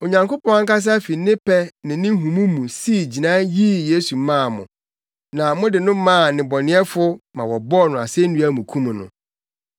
Onyankopɔn ankasa fi ne pɛ ne ne nhumu mu sii gyinae yii Yesu maa mo, na mode no maa nnebɔneyɛfo ma wɔbɔɔ no asennua mu kum no.